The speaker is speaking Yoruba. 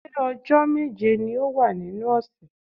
Ṣé ọjọ́ méje ni ó wà nínú ọ̀sẹ̀?